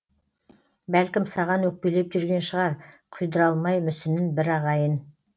бәлкім саған өкпелеп жүрген шығар құйдыра алмай мүсінін бір ағайын